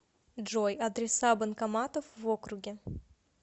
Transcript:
джой адреса банкоматов в округе